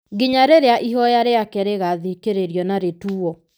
nginya rĩrĩa ihoya rĩake rĩgaathikĩrĩrio na rĩtuwo.